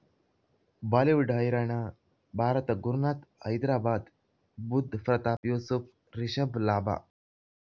Bollywood ಹೈರಾಣ ಭಾರತ ಗುರುನಾಥ ಹೈದರಾಬಾದ್ ಬುಧ್ ಪ್ರತಾಪ್ ಯೂಸುಫ್ ರಿಷಬ್ ಲಾಭ